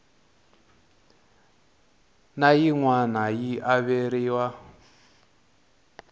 na yin wana yi averiwa